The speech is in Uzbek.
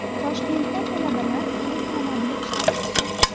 Toshkentda talabalar elektromobil ishlab chiqdi.